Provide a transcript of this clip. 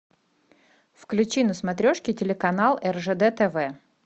включи на смотрешке телеканал ржд тв